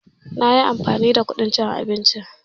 A'a madafi ɗin a rufe yake shiyasa nayi amfani da kadin cin abinci